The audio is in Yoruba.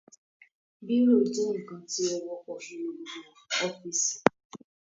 Bírò jẹ́ ǹkan tí ó wọ́pọ̀ nínú gbogbo ọ́fìsì